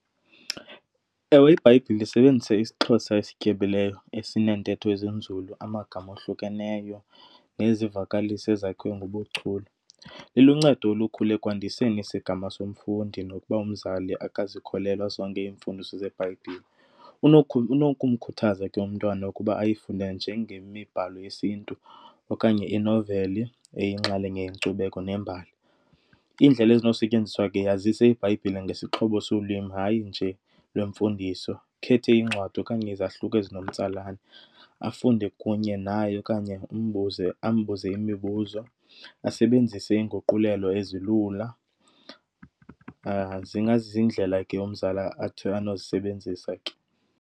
Ewe, iBhayibhile isebenzisa isiXhosa esityebileyo esineentetho ezinzulu, amagama ohlukeneyo nezivakalisi ezakhiwe ngobuchule. Iluncedo olukhulu ekwandiseni isigama somfundi nokuba umzali akazikholelwa zonke iimfundiso zeBhayibhile. Unokumkhuthaza ke umntwana ukuba ayifunde njengemibhalo yesiNtu okanye inoveli eyinxalenye yenkcubeko nembali. Iindlela ezinosetyenziswa ke, yazise iBhayibhile ngesixhobo solwimi, hayi nje lwemfundiso. Ukhethe iincwadi okanye izahluko ezinomtsalane afunde kunye naye okanye umbuze, ambuze imibuzo, asebenzise iinguqulelo ezilula. Zingaziindlela ke umzali athi anozisebenzisa ke.